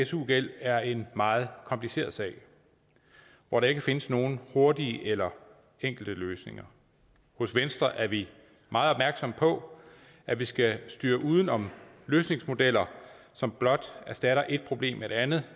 su gæld er en meget kompliceret sag hvor der ikke findes nogen hurtige eller enkle løsninger hos venstre er vi meget opmærksomme på at der skal styres uden om løsningsmodeller som blot erstatter et problem med et andet